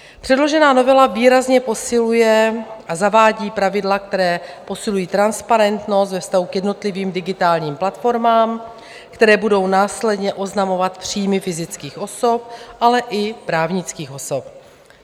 Předložená novela výrazně posiluje a zavádí pravidla, která posilují transparentnost ve vztahu k jednotlivým digitálním platformám, které budou následně oznamovat příjmy fyzických osob, ale i právnických osob.